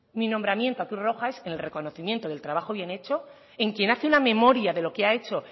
mi nombramiento a cruz roja es el reconocimiento del trabajo bien hecho en quien hace una memoria de lo que ha hecho